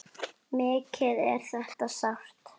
Mikið er þetta sárt.